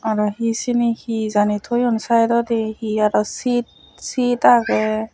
araw hi seni hi jani toyon saidodi hi araw sit sit age.